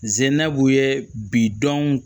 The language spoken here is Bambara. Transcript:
Zenabu ye bidɔn